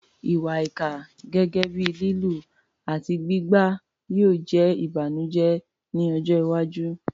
Ìwà ìkà, gẹ́gẹ́ bíi lílù àti gbígbá, yóò jẹ́ ìbànújẹ́ ní ọjọ́ iwájú.